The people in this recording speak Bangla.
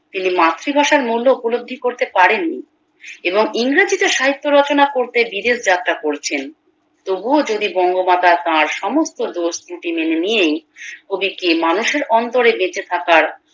তিনি মাতৃভাষার মূল্য উপলব্ধি করতে পারেন নি এবং ইংরেজিতে সাহিত্য রচনা করতে বিদেশ যাত্রা করেছেন তবুও যদি বঙ্গমাতা তার সমস্ত দোষ ত্রুটি মেনে নিয়েই কবিকে মানুষের অন্তরে বেঁচে থাকার